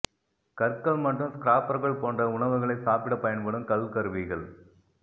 கற்கள் மற்றும் ஸ்கிராப்பர்கள் போன்ற உணவுகளைச் சாப்பிட பயன்படும் கல் கருவிகள்